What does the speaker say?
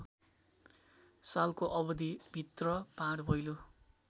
सालको अवधिभित्र भाँडभैलो